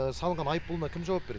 салынған айыппұлына кім жауап береді